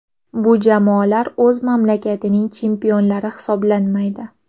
Bu jamoalar o‘z mamlakatining chempionlari hisoblanmaydi.